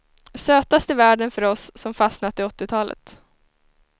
Sötast i världen för oss som fastnat i åttiotalet.